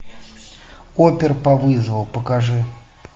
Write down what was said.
опер по вызову покажи